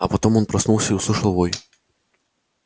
а потом он проснулся и услышал вой